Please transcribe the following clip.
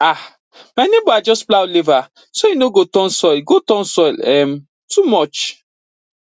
um my neighbor adjust plow lever so e no go turn soil go turn soil um too much